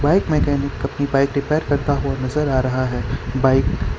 Bike mechanic अपनी bike repair करता हुआ नजर आ रहा है बाइक ।